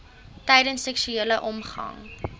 tydens seksuele omgang